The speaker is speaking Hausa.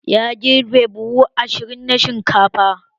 Ya girbe buhu ashirin na shinkafa